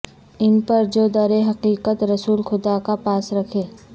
ان پر جو در حقیقت رسول خدا کا پاس رکھے